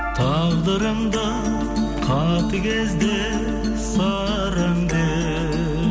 тағдырыңды қатыгез де сараң де